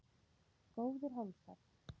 Góðir hálsar!